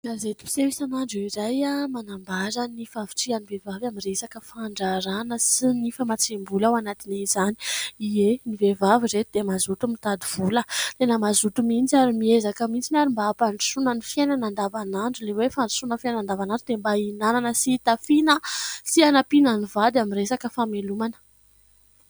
Gazety mpiseho isanandro iray manambara ny fahavitrihan'ny vehivavy amin'ny resaka fandraharahana sy ny famtsiam-bola ao anatin'izany. Ie ! Ny vehivavy ry ireto dia mazoto mitady vola, tena mazoto mihitsy ary miezaka mihitsy ary mba hampandrosoana ny fiainana andavanandro. Ilay hoe fandrosoana amin'ny fiainana andavanandro dia mba hihinana sy hitafiana sy hanampiana ny vady amin'ny resaka famelomana.